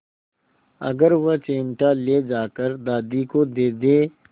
अगर वह चिमटा ले जाकर दादी को दे दे